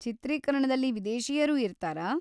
ಚಿತ್ರೀಕರಣದಲ್ಲಿ ವಿದೇಶೀಯರು ಇರ್ತಾರಾ?